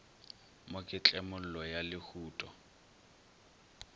mo ke tlemollo ya lehuto